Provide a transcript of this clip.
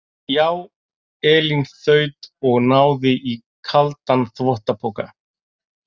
Já, Elín þaut og náði í kaldan þvottapoka.